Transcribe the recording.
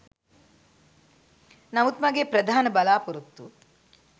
නමුත් මගේ ප්‍රධාන බලාපොරොත්තුව